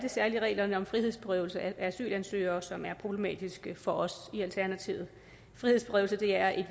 særlig reglerne om frihedsberøvelse af asylansøgere som er problematiske for os i alternativet frihedsberøvelse er et